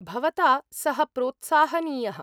भवता सः प्रोत्साहनीयः।